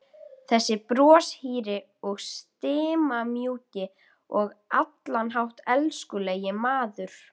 Þessi broshýri og stimamjúki og á allan hátt elskulegi maður!